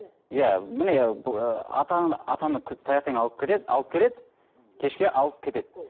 иә міне ы атаны атаны таңертең алып кетеді алып келеді кешке алып кетеді